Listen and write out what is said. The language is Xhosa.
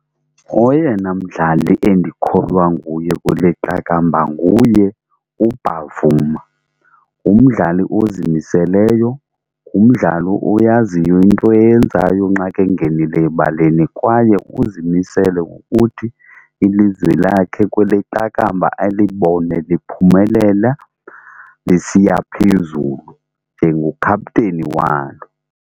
Oyena mdlali endikholwa nguye kule qakamba nguye uBavuma. Ngumdlali ozimiseleyo, ngumdlali oyaziyo into eyenzayo nxa ke ngenileyo ebaleni kwaye uzimisele ukuthi ilizwi lakhe kwele qakamba alibone liphumelela besiya phezulu njengokhapteni walo.